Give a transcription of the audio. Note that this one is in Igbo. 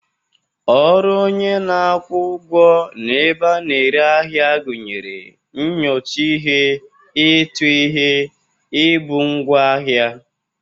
Ọrụ onye na-akwụ ụgwọ n'ebe a na-ere ahịa gụnyere nyocha ihe, ịtụ ihe, ibu ngwaahịa..